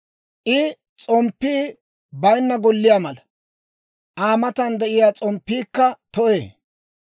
I s'omppii bayinna golliyaa mala; Aa matan de'iyaa s'omppiikka to'ee.